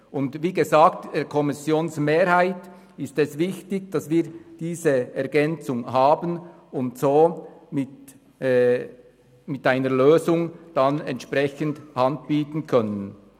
Und wie gesagt, der Kommissionsmehrheit ist es wichtig, dass wir diese Ergänzung haben und somit entsprechend eine Lösung anbieten können.